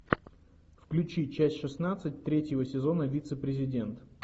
включи часть шестнадцать третьего сезона вице президент